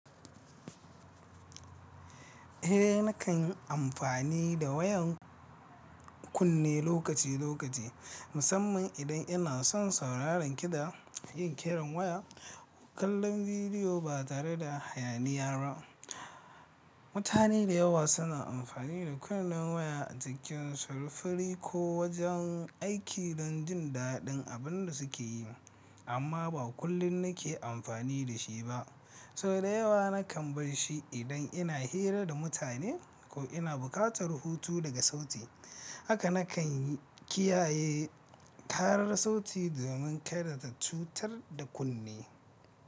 Eh nakan yi amfani da waya kunne lokaci lokaci, musamman idan ina son sauraron kiɗa, yin kiran waya ko kallon bidiyo ba tare da hayaniya ba. Mutane da yawa suna amfani da kunnen waya a cikin sufuri ko wajen aiki don jin daɗin abin da suke yi, amma ba kullum nake amfani da shi ba. Sau da yawa nakan bar shi idan ina hira da mutane ko ina buƙatar hutu daga sauti. Haka nakan kiyaye karar sauti domin kada ta cutar da kunne.